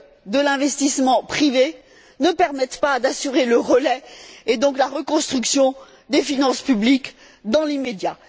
de l'investissement privé ne permettent pas d'assurer le relais et donc la reconstruction des finances publiques dans l'immédiat.